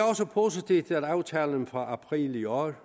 også positivt at aftalen fra april i år